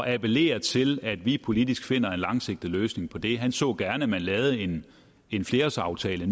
appellerer til at vi politisk finder en langsigtet løsning på det han så gerne at man lavede en en flerårsaftale